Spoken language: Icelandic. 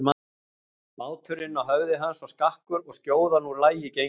Báturinn á höfði hans var skakkur og skjóðan úr lagi gengin.